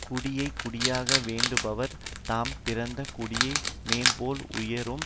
குடியை குடியாக வேண்டுபவர் தாம் பிறந்த குடியை மேல்மேல் உயரும்